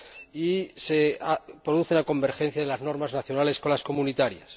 y se produce la convergencia de las normas nacionales con las comunitarias.